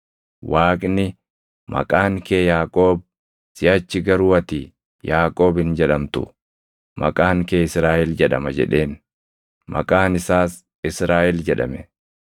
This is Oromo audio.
Waaqni, “Maqaan kee Yaaqoob; siʼachi garuu ati Yaaqoob hin jedhamtu; maqaan kee Israaʼel jedhama” jedheen. Maqaan isaas Israaʼel jedhame.